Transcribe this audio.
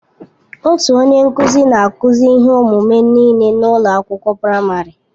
Otu onye nkụzi na-akụzi ihe ọmụmụ nịle n'ụlọ akwụkwọ praịmarị.